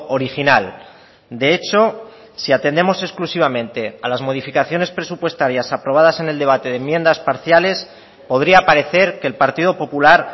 original de hecho si atendemos exclusivamente a las modificaciones presupuestarias aprobadas en el debate de enmiendas parciales podría parecer que el partido popular